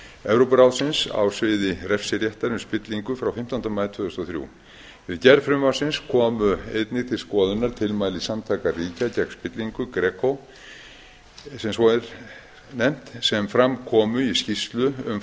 evrópuráðsins á sviði refsiréttar um spillingu frá fimmtánda maí tvö þúsund og þrjú við gerð frumvarpsins komu einnig til skoðunar tilmæli samtaka ríkja gegn spillingu greco sem svo er nefnt sem fram komu í skýrslu um